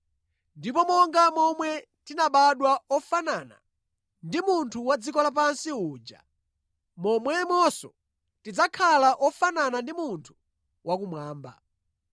Ndipo monga momwe tinabadwa ofanana ndi munthu wa dziko lapansi uja, momwemonso tidzakhala ofanana ndi munthu wakumwamba.